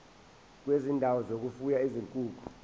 kwezindawo zokufuya izinkukhu